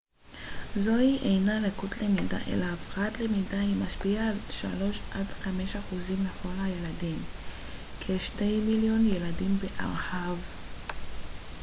זוהי אינה לקות למידה אלא הפרעת למידה היא משפיעה על 3 עד 5 אחוזים מכל הילדים כ-2 מיליון ילדים בארה ב